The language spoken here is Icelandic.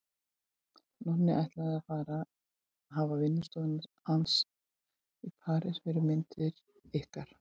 Nonni ætlið að hafa vinnustofu hans í París fyrir myndir ykkar.